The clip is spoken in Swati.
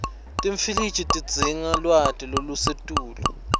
timfiliji tidzinga lwati lolusetulu